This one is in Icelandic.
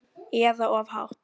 Eða of hátt.